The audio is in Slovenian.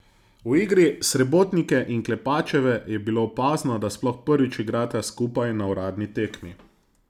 V igri Srebotnike in Klepačeve je bilo opazno, da sploh prvič igrata skupaj na uradni tekmi.